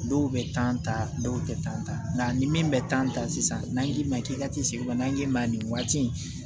Dɔw bɛ tan ta dɔw tɛ tan ta nka ni min bɛ tan ta sisan n'a y'i ma k'i ka tin segin na n'i ma nin waati in